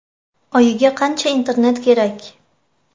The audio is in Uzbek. Oyiga qancha Internet kerak?